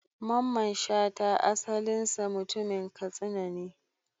Mamman Shata asalinsa mutumin Katsina ne.